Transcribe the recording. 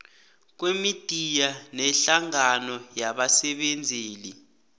kwemidiya nehlangano yabasebenzeli